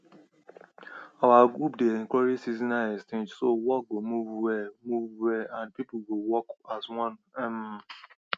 our group dey encourage seasonal exchange so work go move well move well and people go work as one um